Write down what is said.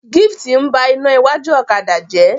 Gift n bá iná iwájú ọ̀kadà jẹ.